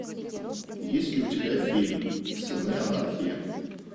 есть ли у тебя фильм сыны анархии